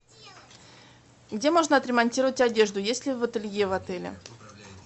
где можно отремонтировать одежду есть ли ателье в отеле